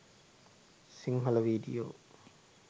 sinhala video.